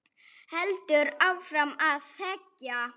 Held áfram að þegja.